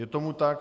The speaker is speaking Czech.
Je tomu tak.